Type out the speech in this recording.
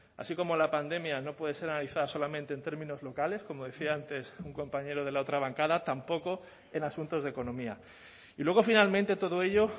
así como la pandemia no puede ser analizada solamente en términos locales como decía antes un compañero de la otra bancada tampoco en asuntos de economía y luego finalmente todo ello